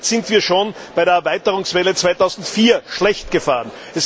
Damit sind wir schon bei der Erweiterungswelle 2004 schlecht gefahren.